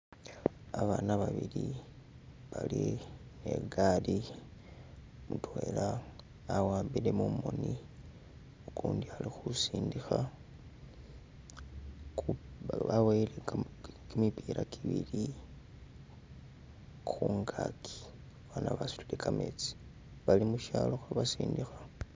Abana babili ne gali, mutwela awambile mumoni, ukundi ali khusindikha, baboyele kimipila kibili khungaki, fana basutile kametsi, bali mushalo khabasindikha.